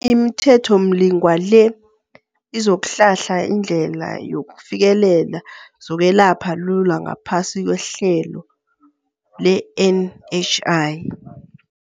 ImiThethomlingwa le izokuhlahla indlela yokufikelela zokwelapha lula ngaphasi kwehlelo le-NHI.